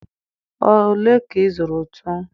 ole ka ị zụrụ ntu?